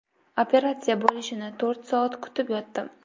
Operatsiya bo‘lishini to‘rt soat kutib yotdim.